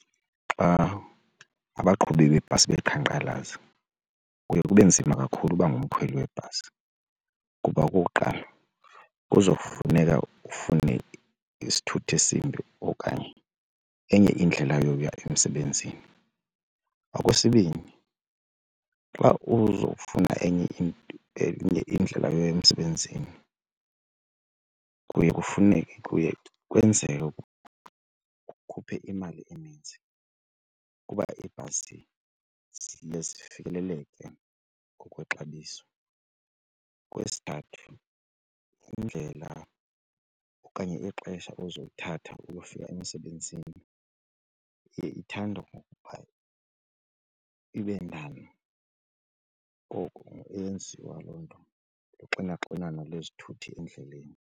Xa abaqhubi beebhasi beqhankqalaza kuye kube nzima kakhulu uba ngumkhweli webhasi kuba okokuqala kuzofuneka ufune isithuthi esimbi okanye enye indlela yokuya emsebenzini. Okwesibini xa uzofuna enye enye indlela eya emsebenzini kuye kufuneke kuye kwenzeke ukhuphe imali eninzi kuba iibhasi ziye zifikeleleke ngokwexabiso. Okwesithathu indlela okanye ixesha uzolithatha uyofika emsebenzini ithanda ukuba ibe ndana, ngoku eyenziwa loo nto kuxinaxinano lezithuthi endleleni.